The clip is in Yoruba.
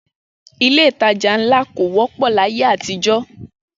Ilé-ìtajà ńlá kò wọ́pọ̀ láyé àtijọ́